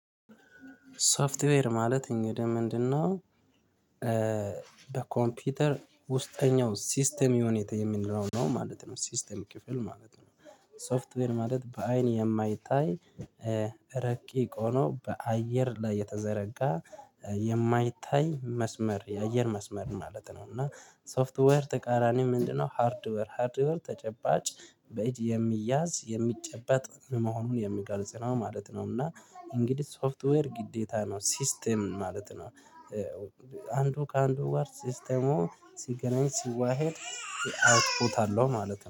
ሶፍትዌር ማለት እንግዲህ ምንድነው? በኮምፒውተር ውስጠኛው ሲስተም ዩኒት የምንለው ነው ማለት ነው ሲስተም ክፍል ማለት ነው። ሶፍትዌር ማለት በአይን የማይታይ ረቂቅ ሆኖ በአየር ላይ የተዘረጋ የማይታይ መስመር የአየር መስመር ማለት ነው። እና ሶፍትዌር ተቃራኒ ምንድነው? ሃርድዌር ሃርድዌር ተጨባጭ በእጅ የሚያዝ የሚጨበጥ መሆኑን የሚገልጽ ነው ማለት ነው። እና እንግዲህ ሶፍትዌር ግዴታ ነው ሲስተም ማለት ነው። አንዱ ከአንዱ ጋር ሲስተሙ ሲገናኝ ሲዋሄድ አውትፑት አለው ማለት ነው